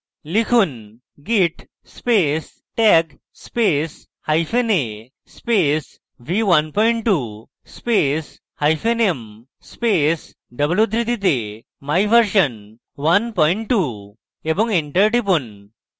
লিখুন: git space tag space hyphen a space v12 space hyphen m space double উদ্ধৃতিতে my version v12 এবং enter টিপুন